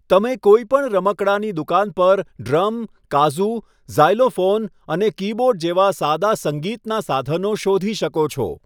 તમે કોઈપણ રમકડાની દુકાન પર ડ્રમ, કાઝૂ, ઝાયલોફોન અને કીબોર્ડ જેવા સાદા સંગીતનાં સાધનો શોધી શકો છો.